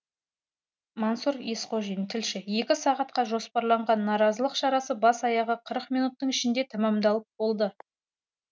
мансұр есқожин тілші екі сағатқа жоспарланған наразылық шарасы бас аяғы қырық минуттың ішінде тәмамдалып болды